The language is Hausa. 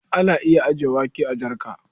Ana iya ajiyar wake a jarka.